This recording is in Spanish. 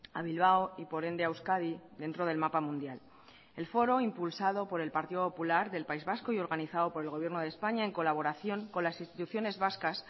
a bilbao y por ende a euskadi dentro del mapa mundial el foro impulsado por el partido popular del país vasco y organizado por el gobierno de españa en colaboración con las instituciones vascas